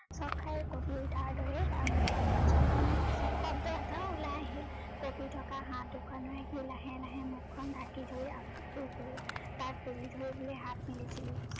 চক খাই কপি উঠাৰ দৰে তাৰ মোখৰ পৰা যন্ত্ৰনা সূচক শব্দ এটা উলাই আহিল, কপি থকা হাত দুখনেৰে সি লাহে লাহে মোখ খ্ন ধাকি ধৰি আকৌ শুই গল, তাক তুলি ধৰিবলৈ হাত মেলিছিলো